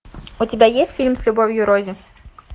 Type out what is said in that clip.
у тебя есть фильм с любовью рози